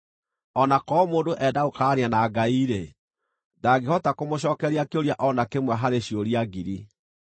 O na korwo mũndũ enda gũkararania na Ngai-rĩ, ndangĩhota kũmũcookeria kĩũria o na kĩmwe harĩ ciũria ngiri.